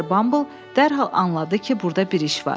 Mister Bumble dərhal anladı ki, burda bir iş var.